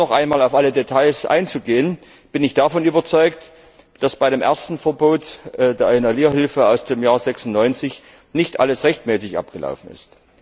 Ohne noch einmal auf alle Details einzugehen, bin ich davon überzeugt, dass bei dem ersten Verbot der Inhalierhilfe aus dem Jahr 1996 nicht alles rechtmäßig abgelaufen ist.